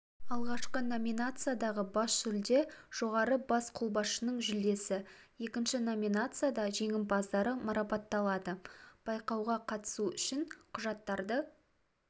алғашқы номинациядағы бас жүлде жоғарғы бас қолбасшысының жүлдесі екінші номинацияда жеңімпаздары марапатталады байқауға қатысу үшін құжаттарды